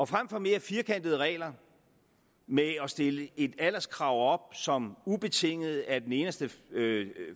frem for mere firkantede regler med at stille et alderskrav som ubetinget er den eneste